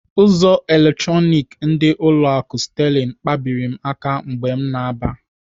Ụzọ eletronik ndị ụlọ akụ Sterling kpabiri m aka mgbe m na-aba.